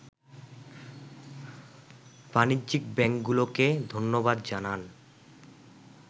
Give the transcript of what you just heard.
বাণিজ্যিক ব্যাংকগুলোকে ধন্যবাদ জানান